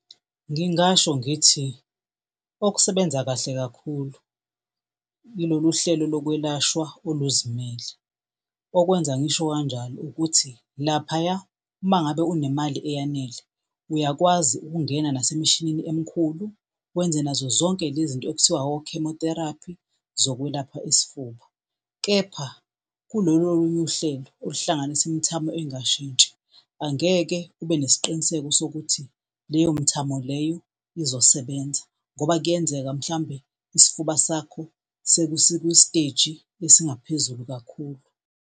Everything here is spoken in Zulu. Ngingasho ngithi okusebenza kahle kakhulu yilolu hlelo lokwelashwa oluzimele. Okwenza ngisho kanjalo ukuthi laphaya uma ngabe unemali eyanele uyakwazi ukungena nasemishinini emikhulu wenze nazo zonke le zinto okuthiwa o-chemotherapy, zokwelapha isifuba. Kepha kulolu olunye uhlelo oluhlanganisa imthamo engashintshi angeke ube nesiqiniseko sokuthi leyo mithamo leyo izosebenza ngoba kuyenzeka mhlawumbe isifuba sakho sekusikusteji esingaphezulu kakhulu.